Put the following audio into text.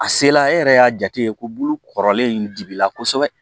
A sela e yɛrɛ y'a jate ye ko bulu kɔrɔlen in digi la kosɛbɛ